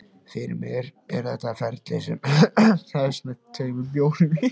Fyrir mér er þetta ferli sem hefst með tveimur bjórum í